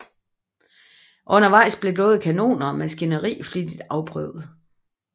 Undervejs blev både kanoner og maskineri flittigt afprøvet